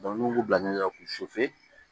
n'u b'u bila ɲɔ k'u